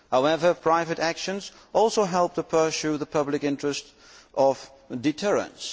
However, private actions also help to pursue the public interest of deterrence.